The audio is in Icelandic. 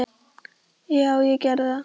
Já, ég geri það